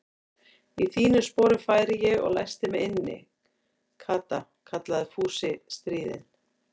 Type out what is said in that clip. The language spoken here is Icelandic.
Í þínum sporum færi ég og læsti mig inni, Kata kallaði Fúsi stríðinn.